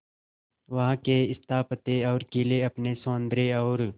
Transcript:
वहां के स्थापत्य और किले अपने सौंदर्य और